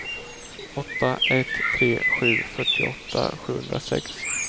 åtta ett tre sju fyrtioåtta sjuhundrasex